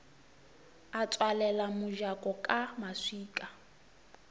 a tswalela mojako ka maswika